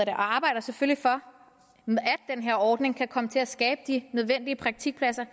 arbejder selvfølgelig for at den her ordning kan komme til at skabe de nødvendige praktikpladser